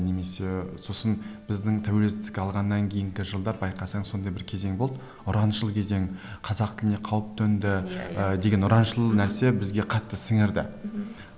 немесе сосын біздің тәуелсіздік алғаннан кейінгі жылдар байқасаң сондай бір кезең болды ұраншыл кезең қазақ тіліне қауіп төнді деген ұраншыл нәрсе бізге қатты сіңірді мхм